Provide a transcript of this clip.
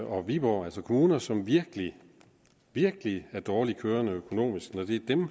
og viborg altså kommuner som virkelig virkelig er dårligt kørende økonomisk